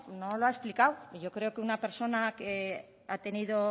no lo ha explicado y yo creo que una persona que ha tenido